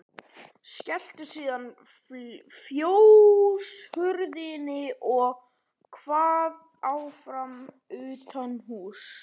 Skellti síðan fjóshurðinni og kvað áfram utanhúss.